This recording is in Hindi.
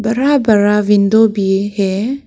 बड़ा बड़ा विंडो भी है।